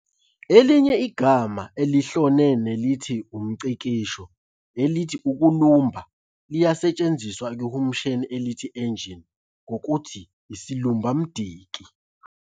Elinye igama elihlone nelithi umNgcikisho, elithi "ukulumba" liyasetshenziswa ekuhumusheni elithi "engine" ngokuthi 'isilumbamdiki'.